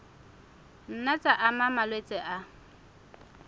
nna tsa ama malwetse a